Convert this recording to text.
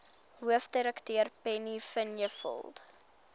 hoofdirekteur penny vinjevold